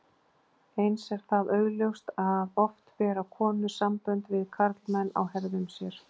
Eins er það augljóst að oft bera konur sambönd við karlmenn á herðum sér.